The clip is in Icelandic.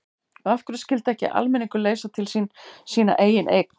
Og af hverju skyldi ekki almenningur leysa til sín sína eigin eign?